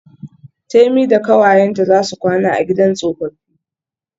Temi da kawayenta zasu kwana a gidan tsofaffi.